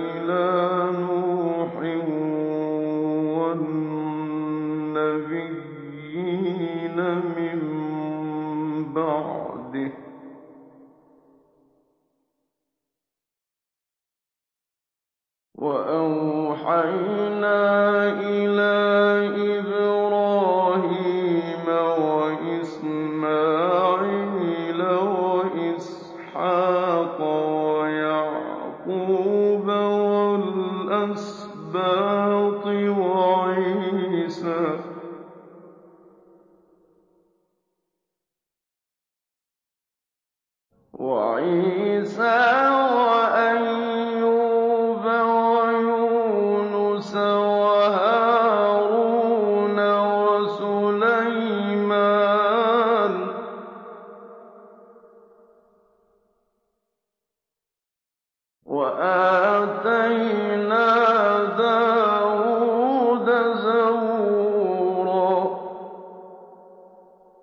إِلَىٰ نُوحٍ وَالنَّبِيِّينَ مِن بَعْدِهِ ۚ وَأَوْحَيْنَا إِلَىٰ إِبْرَاهِيمَ وَإِسْمَاعِيلَ وَإِسْحَاقَ وَيَعْقُوبَ وَالْأَسْبَاطِ وَعِيسَىٰ وَأَيُّوبَ وَيُونُسَ وَهَارُونَ وَسُلَيْمَانَ ۚ وَآتَيْنَا دَاوُودَ زَبُورًا